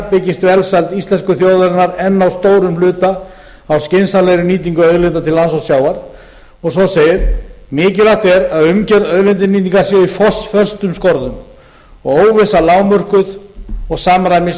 byggist velsæld íslensku þjóðarinnar enn að stórum hluta á skynsamlegri nýtingu auðlinda til lands og sjávar og svo segir mikilvægt er að umgjörð auðlindanýtingar sé í föstum skorðum og óvissa lágmörkuð og samræmis